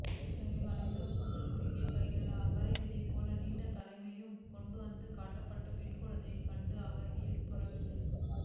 எனவே வளைந்த முதுகும் குறுகிய கைகளும் அவரைவிதைபோல நீண்ட தலையுமாக கொண்டுவந்து காட்டப்பட்ட பெண்குழந்தையைக் கண்டு அவர் வியப்புறவில்லை